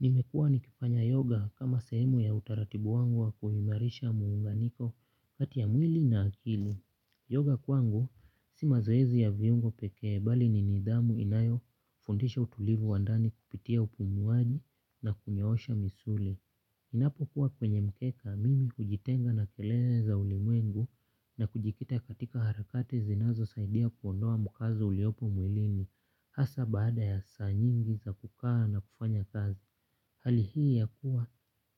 Nimekuwa nikifanya yoga kama sehemu ya utaratibu wangu wa kuimarisha muunganiko kati ya mwili na akili. Yoga kwangu, si mazoezi ya viungo pekee bali ni nidhamu inayofundisha utulivu wa ndani kupitia upumuaji na kunyoosha misuli. Ninapokuwa kwenye mkeka mimi hujitenga na kelele za ulimwengu na kujikita katika harakati zinazosaidia kuondoa mkazo uliopo mwilini hasa baada ya saa nyingi za kukaa na kufanya kazi. Hali hii ya kuwa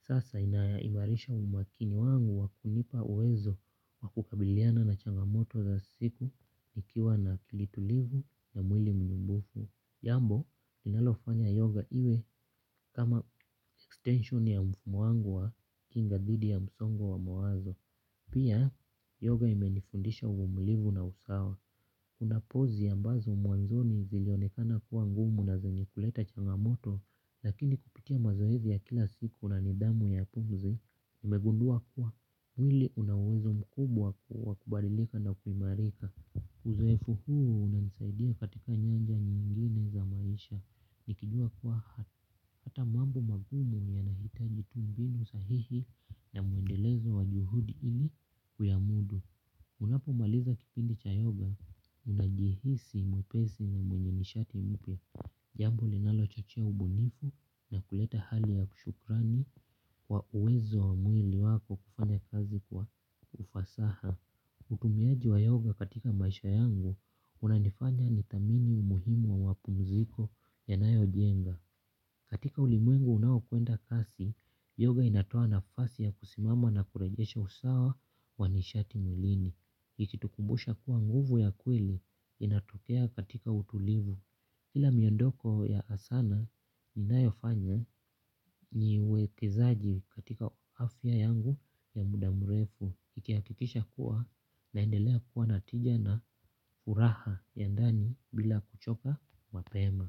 sasa inaimarisha umakini wangu wa kunipa uwezo wa kukabiliana na changamoto za siku nikiwa na kilitulivu na mwili mnumbufu. Jambo, linalofanya yoga iwe kama extension ya mfumo wangu wa kinga dhidi ya msongo wa mawazo. Pia yoga imenifundisha uvumulivu na usawa. Kuna pozi ambazo mwanzoni zilionekana kuwa ngumu na zenye kuleta changamoto lakini kupitia mazoezi ya kila siku na nidhamu ya pumzi, nimegundua kuwa mwili una uwezo mkubwa kuwa kubadilika na kuimarika. Uzoefu huu unanisaidia katika nyanja nyingine za maisha. Nikijua kuwa hata mambo magumu yanahitaji tu mbinu sahihi na muendelezo wa juhudi ili kuyamudu. Unapo maliza kipindi cha yoga unajihisi mwepesi na mwenye nishati mpya. Jambo linalochochea ubunifu na kuleta hali ya kishukrani kwa uwezo wa mwili wako kufanya kazi kwa ufasaha. Utumiaji wa yoga katika maisha yangu unanifanya nithamini umuhimu wa wapumziko yanayojenga. Katika ulimwengu unaokwenda kasi, yoga inatoa nafasi ya kisimama na kurejesha usawa wa nishati mwilini ikitukumbusha kuwa nguvu ya kweli inatokea katika utulivu. Kila miondoko ya asana inayofanya nyiwekezaji katika uafya yangu ya muda mrefu ikihakikisha kuwa naendelea kuwa na tija na furaha ya ndani bila kuchoka mapema.